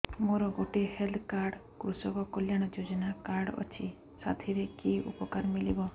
ମୋର ଗୋଟିଏ health card କୃଷକ କଲ୍ୟାଣ ଯୋଜନା କାର୍ଡ ଅଛି ସାଥିରେ କି ଉପକାର ମିଳିବ